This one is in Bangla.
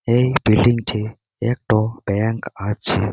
এই বিল্ডিং -টি একটো ব্যাংক আছে।